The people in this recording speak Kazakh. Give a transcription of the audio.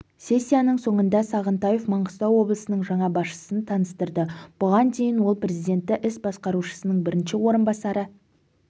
сессияның соңында сағынтаев маңғыстау облысының жаңа басшысын таныстырды бұған дейін ол президенті іс басқарушысының бірінші орынбасары